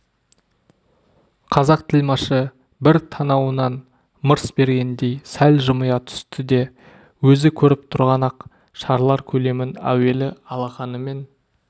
қазақ тілмашы бір танауынан мырс бергендей сәл жымия түсті де өзі көріп тұрған ақ шарлар көлемін әуелі алақанымен